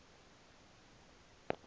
ngalo eli gama